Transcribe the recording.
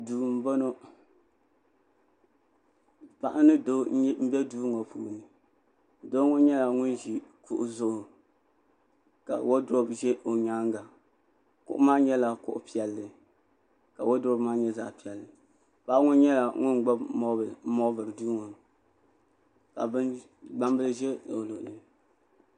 duu n bɔŋɔ paɣa ni doo n bɛ duu ŋɔ ni doo ŋɔ nyɛla ŋun ʒi kuɣu zuɣu ka woodurop ʒɛ o nyaanga kuɣu maa nyɛla kuɣu piɛlli ka woodurop maa nyɛ zaɣ piɛlli paɣa ŋɔ nyɛla ŋun gbuni moobin n moobiri duu ŋɔ ka gbambili ʒɛ o luɣuli